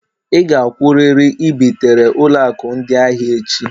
Ị gakwụrịrị i bitere ụlọ akụ ndị ahịa echi